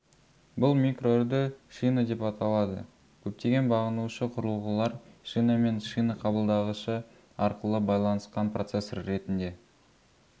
бұл микроүрді шина деп аталады көптеген бағынушы құрылғылар шинамен шина қабылдағышы арқылы байланысқан процессор ретінде